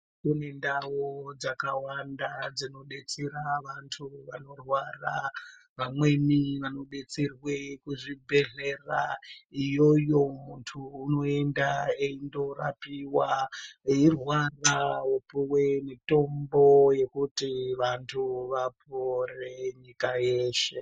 Kune ndau dzakawanda dzinodetsera vantu vanorwara vamweni vanodetserwe zvibhedhlera iyoyo muntu unoenda eindorapiwa eirwara eipiwa mitombo yekuti vantu vapore nyika yeshe.